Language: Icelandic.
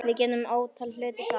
Við gerðum ótal hluti saman.